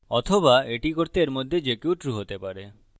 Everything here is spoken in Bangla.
অথবা এটি করতে or মধ্যে যে কেউ true হতে পারে